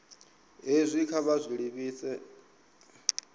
hezwi kha vha zwi livhise